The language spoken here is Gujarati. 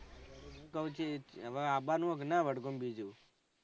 શાંતિ હવે આવવા નું હે કે નાં વડગામ બીજું